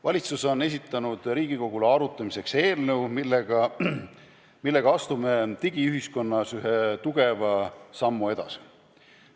Valitsus on esitanud Riigikogule arutamiseks eelnõu, millega astume digiühiskonnas ühe suure sammu edasi.